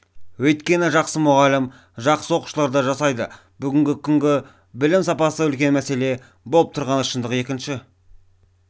өйткені жақсы мұғалім жақсы оқушыларды жасайды бүгінгі күні білім сапасы үлкен мәселе болып тұрғаны шындық екінші